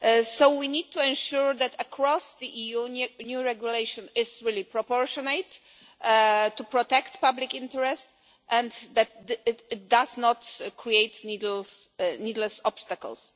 So we need to ensure that across the EU, the new regulation is really proportionate in order to protect public interests and that it does not create needless obstacles.